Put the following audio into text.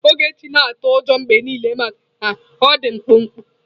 Ogechi na-atụ ụjọ mgbe niile maka na ọ dị mkpụmkpụ.